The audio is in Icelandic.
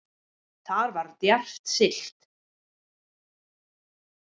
Þar var djarft siglt